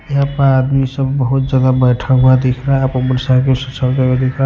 यहां पर आदमी सब बहुत ज्यादा बैठा हुआ दिख रहा है आप बर सा चलते हुए देख--